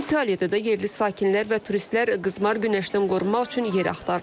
İtaliyada da yerli sakinlər və turistlər qızmar günəşdən qorunmaq üçün yer axtarırlar.